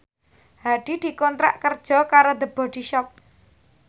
Hadi dikontrak kerja karo The Body Shop